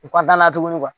U ka da la tuguni